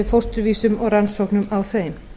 fósturvísum og rannsóknum á þeim